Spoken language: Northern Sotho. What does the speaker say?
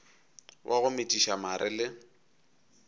wa go metšiša mare le